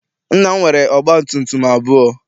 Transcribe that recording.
Nna m nwere ọgba tum tum abụọ.